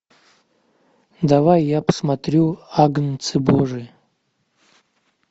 давай я посмотрю агнцы божии